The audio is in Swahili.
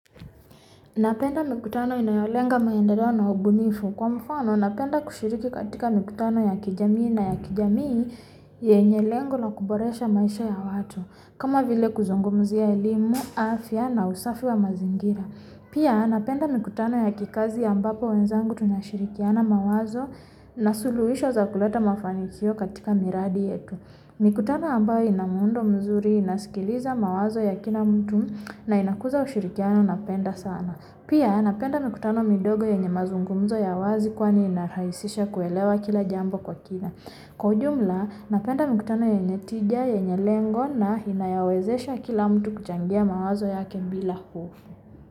Napenda mikutano inayolenga maendeleo na ubunifu kwa mfano napenda kushiriki katika mikutano ya kijamii na ya kijamii yenye lengo na kuboresha maisha ya watu kama vile kuzungumzia elimu afya na usafi wa mazingira Pia napenda mikutano ya kikazi ambapo wenzangu tunashirikiana mawazo na suluhisho za kuleta mafanikio katika miradi yetu mikutano ambayo ina muundo mzuri inasikiliza mawazo ya kila mtu na inakuza ushirikiano napenda sana Pia napenda mikutano midogo yenye mazungumzo ya wazi kwani inarahisisha kuelewa kila jambo kwa kina Kwa ujumla napenda mikutano yenye tija yenye lengo na inayowezesha kila mtu kuchangia mawazo yake bila hofu.